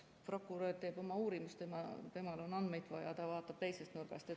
Prokurör teeb oma uurimist, temal on andmeid vaja, ta vaatab teisest nurgast.